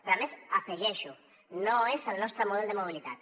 però a més hi afegeixo no és el nostre model de mobilitat